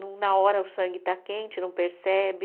No na hora o sangue está quente, não percebe.